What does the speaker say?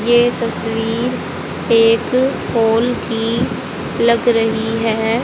ये तस्वीर एक हॉल की लग रही है।